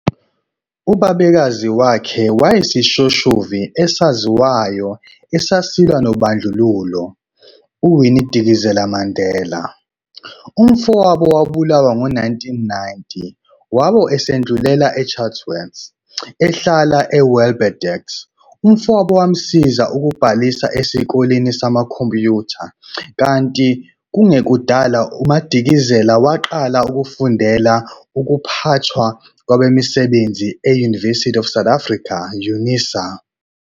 Ubabekazi wakhe wayeyisishoshovu esaziwayo esasilwa nobandlululo uWinnie Madikizela Mandela. Umfowabo wabulawa ngo-1990 wabe esedlulela eChatsworth, ehlala eWelbedacht. Umfowabo wamsiza ukubhalisa esikoleni samakhompiyutha kanti kungekudala uMadikizela waqala ukufundela ukuphathwa kwabasebenzi e- University of South Africa, UNISA.